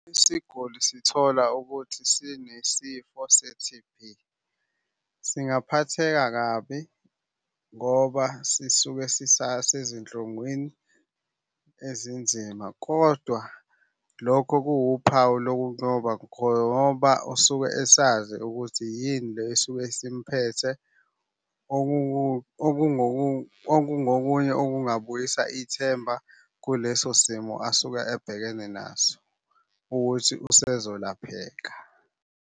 Isiguli sithola ukuthi sinesifo se-T_B, singaphatheka kabi ngoba sisuke sisasezinhlungwini ezinzima, kodwa lokho kuwuphawu usuke esazi ukuthi yini le esuke isimphethe. Okungokunye okungabuyisa ithemba kuleso simo asuke ebhekene naso ukuthi usezolapheka.